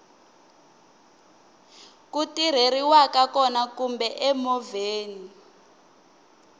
ku tirheriwaka kona kumbe emovheni